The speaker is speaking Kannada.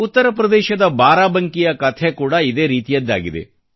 ಉತ್ತರ ಪ್ರದೇಶದ ಬಾರಾಬಂಕಿಯ ಕಥೆ ಕೂಡ ಇದೇ ರೀತಿಯದ್ದಾಗಿದೆ